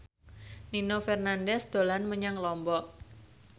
Nino Fernandez dolan menyang Lombok